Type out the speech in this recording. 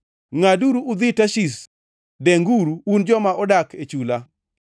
Ngʼaduru udhi Tarshish denguru, un joma odak e chula.